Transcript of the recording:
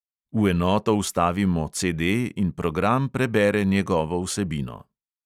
V enoto vstavimo CD in program prebere njegovo vsebino.